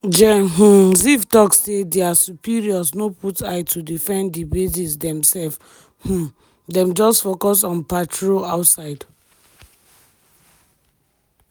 gen um ziv talk say dia superiors no put eye to defend di bases demself um dem just focus on patrol outside.